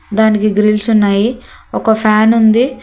దానికి గ్రిల్స్ ఉన్నాయి ఒక ఫ్యాన్ ఉంది.